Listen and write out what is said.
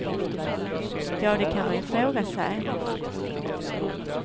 Ja, det kan man ju fråga sig.